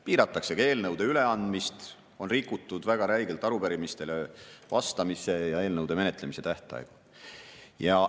Piiratakse ka eelnõude üleandmist, on rikutud väga räigelt arupärimistele vastamise ja eelnõude menetlemise tähtaegu.